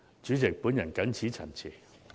主席，我謹此陳辭。